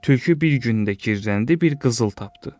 Tülkü bir gündə girrələndi, bir qızıl tapdı.